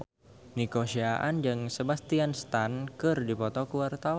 Nico Siahaan jeung Sebastian Stan keur dipoto ku wartawan